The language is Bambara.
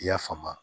I y'a faamu